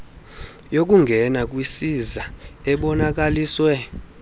yokungena kwisiza ebonakaliswe